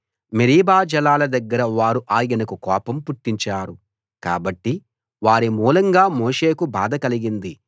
Meribah జలాల దగ్గర వారు ఆయనకు కోపం పుట్టించారు కాబట్టి వారి మూలంగా మోషేకు బాధ కలిగింది